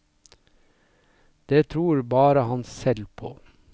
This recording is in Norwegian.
Det tror bare han selv på.